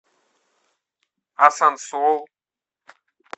асансол